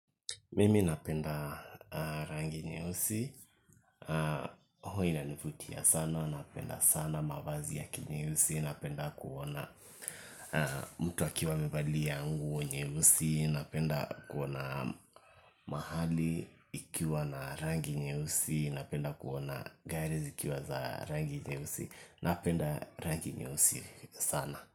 Mimi napenda rangi nyeusi, huwa inanivutia sana napenda sana mavazi ya kinyeusi napenda kuona mtu akiwa amevalia nguo nyeusi, napenda kuona mahali ikiwa na rangi nyeusi, napenda kuona gari zikiwa za rangi nyeusi, napenda rangi nyeusi sana.